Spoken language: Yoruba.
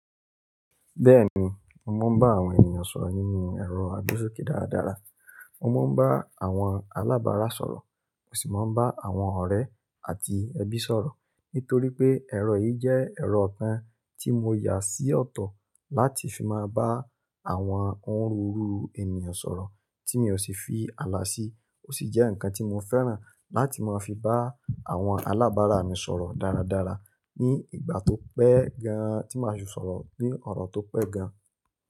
Bẹ́ẹ̀ni, mo máa ń bá àwọn ènìyàn sọ̀rọ̀ nínú ẹ̀rọ Agbáṣókè dáradára. Mo máa ń bá àwọn alábárà sọ̀rọ̀, mo sì máa ń bá àwọn ọ̀rẹ́ àti ẹbí sọ̀rọ̀. Nítorí pé ẹ̀rọ yìí jẹ́ ẹ̀rọ kan tí mo yà sí ọ̀tọ̀ láti fi máa bá àwọn oni rúru ènìyàn sọ̀rọ̀ tí mi ò sì fi àlà sí, ó sì jẹ́ ǹkan tí mo fẹ́ràn láti máa fi bá àwọn alábárà mi sọ̀rọ̀ dáradára ní ìgbà tó pẹ́ gan, tí màá sì sọ̀rọ̀ ní ọ̀rọ̀ tó pẹ́ gan.